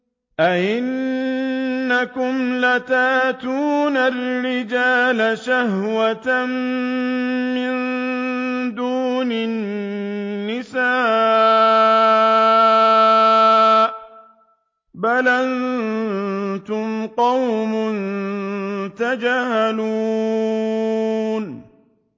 أَئِنَّكُمْ لَتَأْتُونَ الرِّجَالَ شَهْوَةً مِّن دُونِ النِّسَاءِ ۚ بَلْ أَنتُمْ قَوْمٌ تَجْهَلُونَ